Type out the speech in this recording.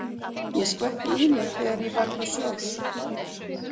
Ég skvetti í mig þegar ég var til sjós.